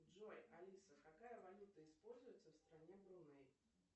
джой алиса какая валюта используется в стране бруней